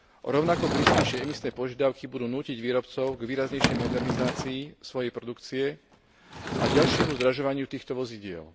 Rovnako prísnejšie emisné požiadavky budú nútiť výrobcov k výraznejšej modernizácii svojej produkcie a ďalšiemu zdražovaniu týchto vozidiel.